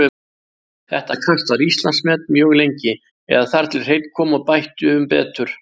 Þetta kast var Íslandsmet mjög lengi, eða þar til Hreinn kom og bætti um betur.